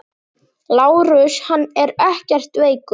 LÁRUS: Hann er ekkert veikur.